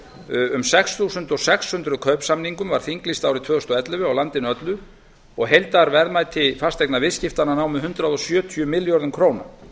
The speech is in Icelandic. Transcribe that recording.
um sex þúsund sex hundruð kaupsamningum var þinglýst árið tvö þúsund og ellefu á landinu öllu og heildarverðmæti fasteignaviðskiptanna nam hundrað sjötíu milljörðum króna